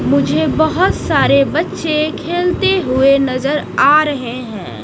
मुझे बहोत सारे बच्चे खेलते हुए नजर आ रहे हैं।